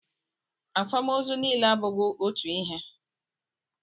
Akwamozu niile abụghị otu ihe.